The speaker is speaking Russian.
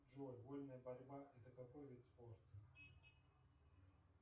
джой вольная борьба это какой вид спорта